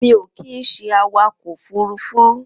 Mi ó kin ṣé àwákọ ófùrùfù